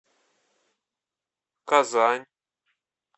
казань